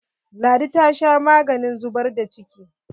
Ladi ta sha maganin zubar da ciki.